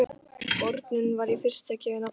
Bornum var í fyrstu gefið nafnið